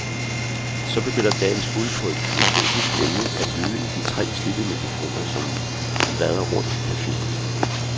Så begynder dagens bud på et filosofisk emne at lyde i de tre slidte mikrofoner, som vandrer rundt i caféen.